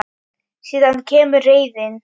Síðan kemur reiðin.